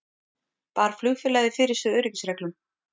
Bar flugfélagið fyrir sig öryggisreglum